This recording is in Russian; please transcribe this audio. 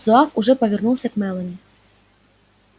зуав уже повернулся к мелани